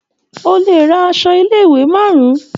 O lè ra aṣọ ilé-ìwé márùn-ún.